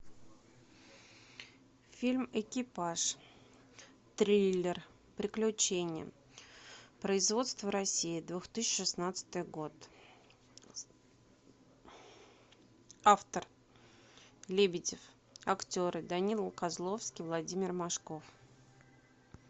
фильм экипаж триллер приключения производство россия две тысячи шестнадцатый год автор лебедев актеры данила козловский владимир машков